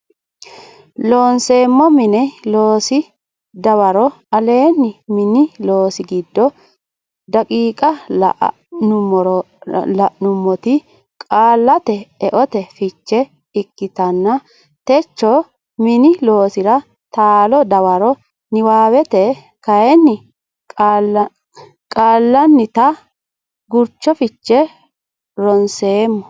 Looseemmo Mini Loosi dawaro aleenni mini loosi giddo daqiiqa la nummoti qaallate eote fiche ikkitanna techo Mini loosira taalo dawaro niwaawete kayinni qaallannita gurcho fiche ronseemmo.